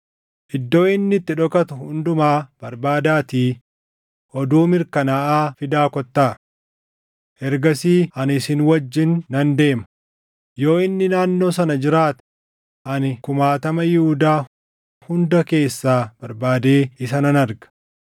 Iddoo inni itti dhokatu hundumaa barbaadaatii oduu mirkanaaʼaa fidaa kottaa. Ergasii ani isin wajjin nan deema; yoo inni naannoo sana jiraate ani kumaatama Yihuudaa hunda keessaa barbaadee isa nan arga.”